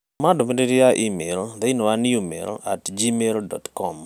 Tũma ndũmirĩri ya i-mīrū thĩinĩ wa newmail at gmail dot com